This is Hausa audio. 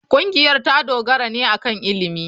Ƙungiyar ta dogara ne akan ilimi.